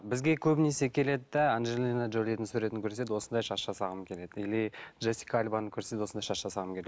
бізге көбінесе келеді де анжелина джолидің суретін көрсетеді осындай шаш жасағым келеді или джессика альбаны көрсетеді осындай шаш жасағым